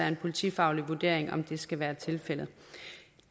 en politifaglig vurdering om det skal være tilfældet